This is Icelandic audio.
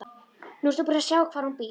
Nú ertu búin að sjá hvar hún býr.